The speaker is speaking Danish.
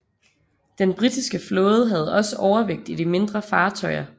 Den britiske flåde havde også overvægt i de mindre fartøjer